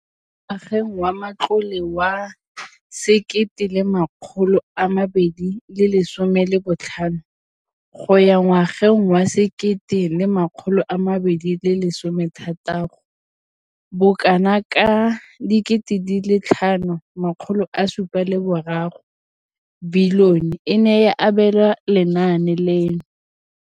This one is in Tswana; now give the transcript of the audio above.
Mo ngwageng wa matlole wa 2015,16, bokanaka R5 703 bilione e ne ya abelwa lenaane leno.